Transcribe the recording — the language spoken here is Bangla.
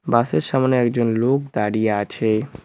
বাসের সামোনে একজন লোক দাঁড়িয়ে আছে।